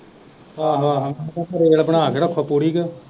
ਆਹੋ ਆਹੋ ਨਹੀਂ ਤੇ ਫਿਰ ਰੇਲ ਬਣਾ ਕੇ ਪੂਰੀ ਕ।